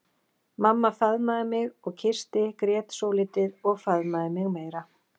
Mamma faðmaði mig og kyssti, grét svolítið og faðmaði mig meira.